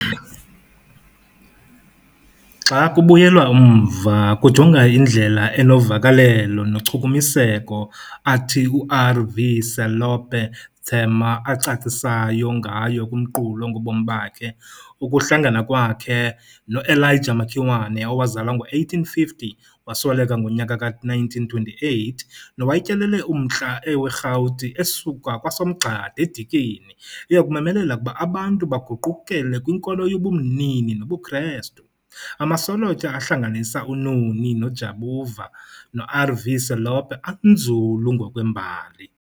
Xa kubuyelwa umva kujongwa indlela enovakelelo nochukumiseko athi uR.V.Selope Thema acacisayo ngayo kumqulu ongobomi bakhe ukuhlangana kwakheno Elijah Makiwane owazalwa ngo1850 wasweleka ngo1928 nowayetyelele uMntla weRhawuti esuka kwaSomgxada eDikeni eyokumemelela ukuba abantu baguqukele kwinkolo yabumini nobuKrestu, amasolotya ahlanganisa uNoni Jabavu noR.V.Selope anzulu ngokwembali.